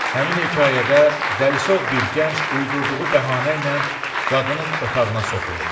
Həmin hekayədə Dəlisov bir gənc uydurduğu bəhanə ilə qadının otağına soxulur.